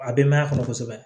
A denbaya kɔnɔ kosɛbɛ